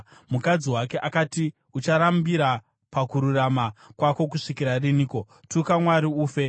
Mukadzi wake akati, “Ucharambira pakururama kwako kusvikira riniko? Tuka Mwari ufe!”